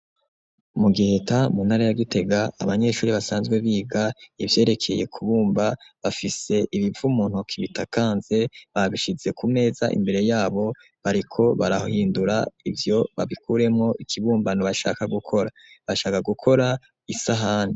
Mu giheta muntara ya gitega, abanyeshuri basanzwe biga ivyerekeye kubumba bafise ibivu muntuki bitakanze, babishize kumeza imbere yabo bariko barahindura ivyo babikuremwo ikibumbano bashaka gukora bashaka gukora isahani.